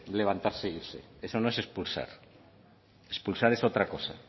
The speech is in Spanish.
levantarse e irse eso no es expulsar expulsar es otra cosa